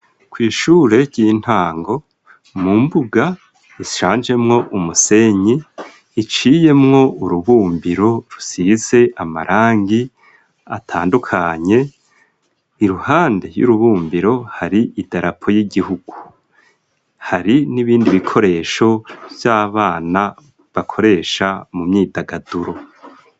kw'ishure ry'intango ,mu mbuga isanjemwo umusenyi iciyemwo urubumbiro rusize amarangi atandukanye ,iruhande y'urubumbiro hari idarapo y'igihugu, hari n'ibindi bikoresho vy'abana bakoresha mu myidagaduro.